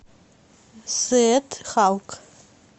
сет халк